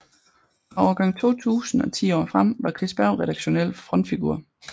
Fra årgang 2000 og ti år frem var Chris Berg redaktionel frontfigur